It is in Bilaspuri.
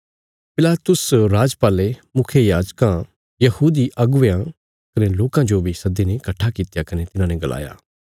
पिलातुस राजपाले मुखियायाजकां यहूदी नेतयां कने लोकां जो बी सद्दीने कट्ठा कित्या कने तिन्हांने गलाया